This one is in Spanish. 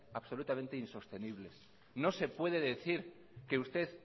absolutamente insostenibles no se puede decir que usted